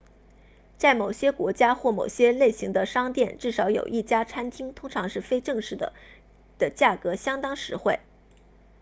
在某些国家或某些类型的商店至少有一家餐厅通常是非正式的的价格相当实惠